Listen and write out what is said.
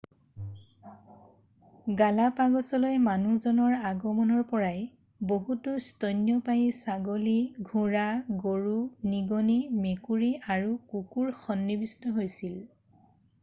গালাপাগছলৈ মানুহজনৰ আগমনৰ পৰাই বহুতো স্তন্যপায়ী ছাগলী ঘোঁৰা গৰু নিগনি মেকুৰী আৰু কুকুৰ সন্নিৱিষ্ট হৈছিল৷